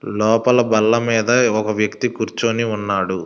లోపల బల్ల మీద ఒక వ్యక్తి కూర్చొని ఉన్నాడు.